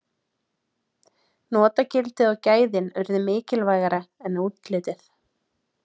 notagildið og gæðin urðu mikilvægara en útlitið